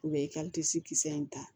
U bɛ i ka kisɛ in ta